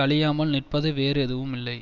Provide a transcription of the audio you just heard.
அழியாமல் நிற்பது வேறு எதுவும் இல்லை